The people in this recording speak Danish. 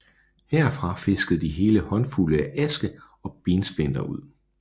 Herfra fiskede de hele håndfulde af aske og bensplinter ud